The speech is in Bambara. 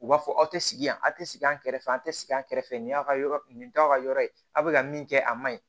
U b'a fɔ aw tɛ sigi yan aw tɛ sigi an kɛrɛfɛ an tɛ sigi a kɛrɛfɛ nin y'a ka yɔrɔ ye nin t'aw ka yɔrɔ ye aw bɛ ka min kɛ a man ɲi